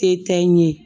Te tɛ n ye